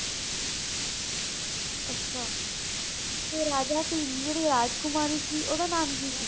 ਅੱਛਾ ਤੇ ਰਾਜਾ ਭੀਮ ਦੀ ਜਿਹੜੀ ਰਾਜਕੁਮਾਰੀ ਸੀ ਓਹਦਾ ਨਾਮ ਕੀ ਸੀ